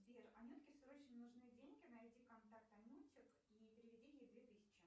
сбер анютке срочно нужны деньги найди контакт анютик и переведи ей две тысячи